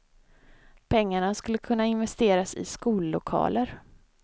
Pengarna skulle kunna investeras i skollokaler.